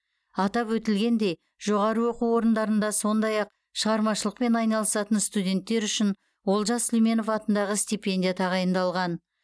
атап өтілгендей жоғары оқу орындарында сондай ақ шығармашылықпен айналысатын студенттер үшін олжас сүлейменов атындағы стипендия тағайындалған